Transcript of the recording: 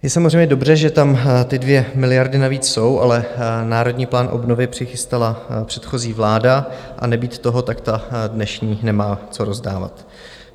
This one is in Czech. Je samozřejmě dobře, že tam ty 2 miliardy navíc jsou, ale Národní plán obnovy přichystala předchozí vláda, a nebýt toho, tak ta dnešní nemá co rozdávat.